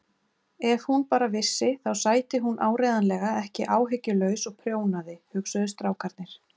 Ef hún bara vissi þá sæti hún áreiðanlega ekki áhyggjulaus og prjónaði, hugsuðu strákarnir.